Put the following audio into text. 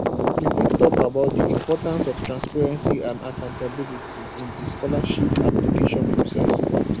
you fit talk about di importance of transparency and accountability in di scholarships application process